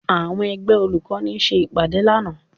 Àwọn ẹgbẹ́ olùkọ́ni ṣe ìpàdé lánàá